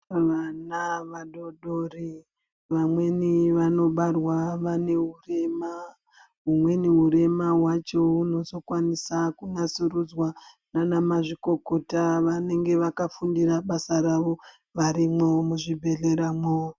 Vana vadoodori, vamweni vanobarwa vane urema. Umweni urema wacho unozokwanisa kunatsurudzwa naana mazvikokota vanenge vakafundira basa ravo, varimwo muzvibhedhlera mwo.